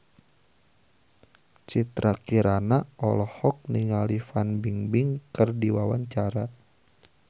Citra Kirana olohok ningali Fan Bingbing keur diwawancara